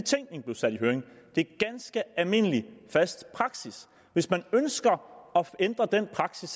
det er ganske almindelig fast praksis hvis man ønsker at ændre den praksis